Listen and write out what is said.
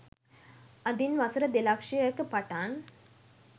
අදින් වසර දෙලක්ෂයක පටන්